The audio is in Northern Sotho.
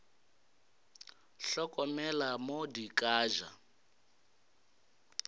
hlokomele mo di ka ja